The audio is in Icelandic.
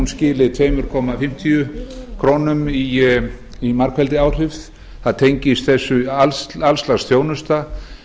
skili tveimur komma fimm krónum í margfeldisáhrif það tengist þessu alls lags þjónusta